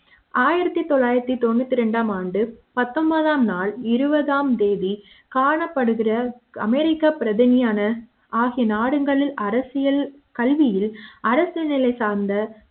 ஆயிரத்து தொள்ளாயிரத்துத்தொன்னுத்தி ரெண்டாம் ஆண்டு பத்தொன்பது ஆம் நாள் இருபதாம் தேதி காணப்படுகிற அமெரிக்கா பிரதிநிதியான ஆகிய நாடுகளில் அரசியல் கல்வியில் அரசு நிலை சார்ந்த